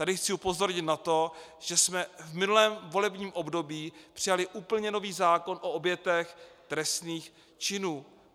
Tady chci upozornit na to, že jsme v minulém volebním období přijali úplně nový zákon o obětech trestných činů.